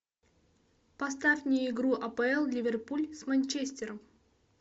поставь мне игру апл ливерпуль с манчестером